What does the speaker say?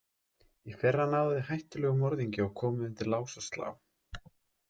Í fyrra náðuð þið hættulegum morðingja og komuð undir lás og slá.